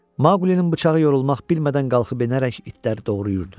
Maqlinin bıçağı yorulmaq bilmədən qalxıb enərək itləri doğrayırdı.